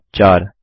step 4